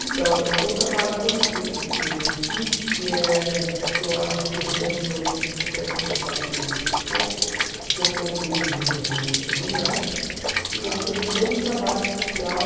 Então, o o trabalho que eu não especifiquei aqui, que é que eu acho que eu eu até falei, mas muito pouco, que eu sou de um de um terreiro de candomblé e nós fazemos todo um trabalho social